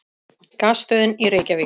Gasstöðin í Reykjavík.